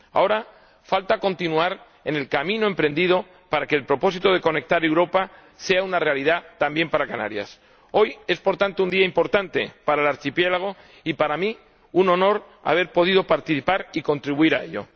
Ahora falta continuar en el camino emprendido para que el propósito de conectar Europa sea una realidad también para Canarias. Hoy es, por tanto, un día importante para el archipiélago. Y para mí un honor haber podido participar y contribuir a ello.